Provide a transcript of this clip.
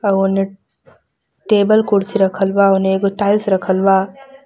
एगो ने टेबल कुर्सी रखल बा ओने एगो टाइल्स रखल बा।